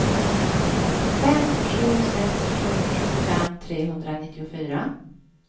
fem sju sex sju sjuttiofem trehundranittiofyra